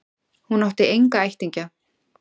Hún átti enga ættingja.